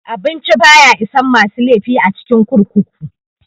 Abinci baya isan masu laifi a cikin kurkuku.